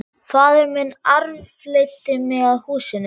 Faðir minn arfleiddi mig að húsinu.